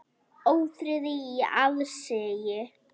Ófriði í aðsigi.